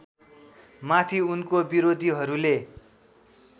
माथि उनको विरोधीहरूले